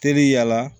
Teri yala